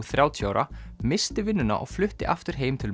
þrjátíu ára missti vinnuna og flutti aftur heim til